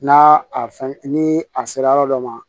N'a a fɛn ni a sera yɔrɔ dɔ ma